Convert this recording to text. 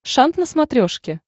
шант на смотрешке